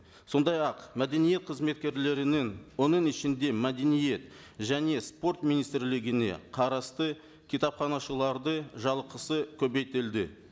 сондай ақ мәдениет қызметкерлерінің оның ішінде мәдениет және спорт министрлігіне қарасты кітапханашылардың жалақысы көбейтілді